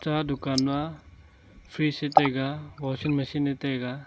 aga dukan ma fridge a taiga washing machine a taiga.